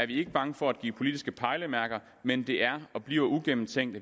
vi ikke bange for at give politiske pejlemærker men det er og bliver uigennemtænkt